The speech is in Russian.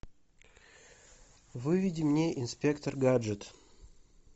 выведи мне инспектор гаджет